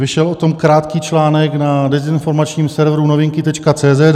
Vyšel o tom krátký článek na dezinformačním serveru Novinky.cz